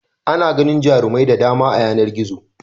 Ana ganin jarumai da dama a yanar gizo.